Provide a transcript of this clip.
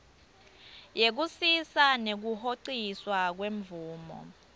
yekusisa nekuhociswa kwemvumo